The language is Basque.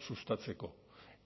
sustatzeko